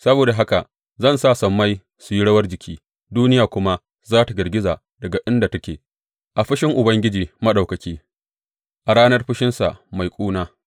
Saboda haka zan sa sammai su yi rawar jiki; duniya kuma za tă girgiza daga inda take a fushin Ubangiji Maɗaukaki, a ranar fushinsa mai ƙuna.